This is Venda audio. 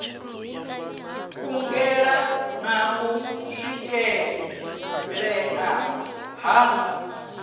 kungela na u swikelea ha